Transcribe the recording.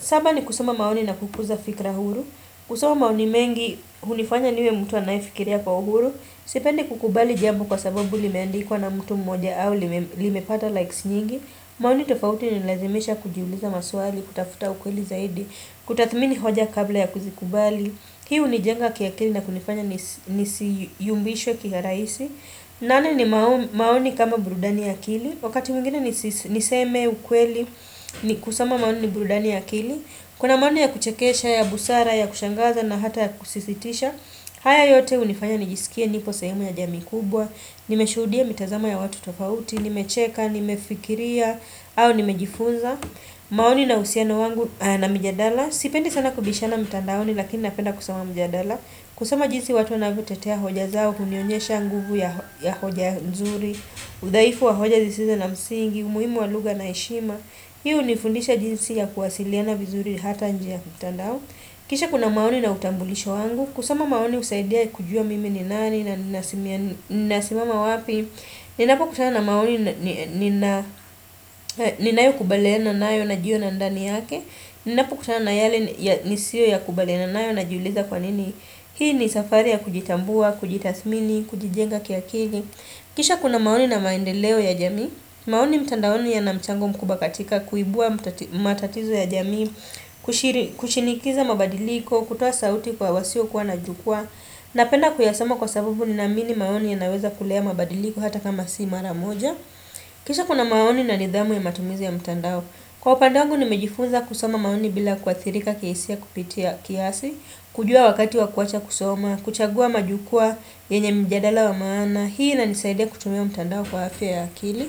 Saba ni kusoma maoni na kukuza fikra huru kusoma maoni mengi unifanya niwe mtuwa naifikiria kwa huru Sipendi kukubali jamu kwa sababu li meandikuwa na mtu mmoja au li mepata likes nyingi maoni tofauti ni nilazemisha kujiuliza maswali kutafuta ukweli zaidi kutathmini hoja kabla ya kuzikubali Hiu ni jenga kia kili na kunifanya ni siyumbishwe kia raisi nane ni maoni kama brudani ya kili Wakati mingine ni seme ukweli ni kusama maoni ni brudani ya kili Kuna maoni ya kuchekesha, ya busara, ya kushangaza na hata ya kusisitisha haya yote unifanya ni jisikia nipo sayumu ya jami kubwa Nimeshudia mitazama ya watu tofauti, nimecheca, nimefikiria au nimejifunza maoni na usiana wangu na mijadala Sipendi sana kubishana mtandaoni lakini napenda kusama mjadala Kusama jinsi watu wanavutetea hoja zao Kunionyesha nguvu ya hoja nzuri Udaifu wa hoja zisiza na msingi umuhimu waluga na ishima Hiu nifundisha jinsi ya kuwasiliana vizuri hata njia mtandao Kisha kuna maoni na utambulisho wangu Kusama maoni usaidia kujua mimi ni nani na nasimama wapi Ninapo kutana maoni ni nayo kubaleena nayo na jio na ndani yake Ninapu kutana yale ni siyo ya kubale na nayo na juuliza kwa nini Hii ni safari ya kujitambua, kujitathmini, kujijenga kiakili Kisha kuna maoni na maendeleo ya jami maoni mtandaoni ya na mchango mkubakatika Kuibua matatizo ya jamii Kuchinikiza mabadiliko, kutoa sauti kwa wasio kwa na jukwa napenda kuyasama kwa sabubu ni na mini maoni ya naweza kulea mabadiliko hata kama si mara moja Kisha kuna maoni na nidhamu ya matumizi ya mtandao Kwa upandangu nimejifunza kusoma maoni bila kuathirika kiesia kupitia kiasi, kujua wakati wakuacha kusoma, kuchagua majukua yenye mjadala wa maana, hii na nisaide kutumia mtandao kwa hafi ya akili.